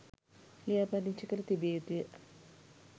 ලියාපදිංචි කර තිබිය යුතුය